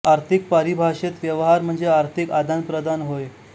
आर्थिक परिभाषेत व्यवहार म्हणजे आर्थिक आदान प्रदान होय